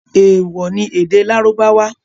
Ewọ ni èdè Lárúbáwá!